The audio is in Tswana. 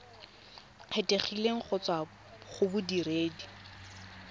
kgethegileng go tswa go bodiredi